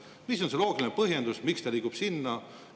Mis on see loogiline põhjendus, miks ta liigub sinna?